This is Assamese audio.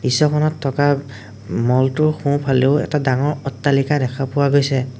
দৃশ্যখনত থকা মল টোৰ সোঁ-ফালেও এটা ডাঙৰ অট্টালিকা দেখা পোৱা গৈছে।